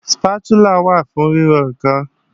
Sípátúlà wà fún ríro ǹkan